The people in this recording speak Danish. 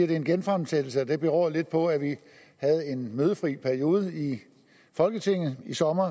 det er en genfremsættelse og det beror lidt på at vi havde en mødefri periode i folketinget i sommer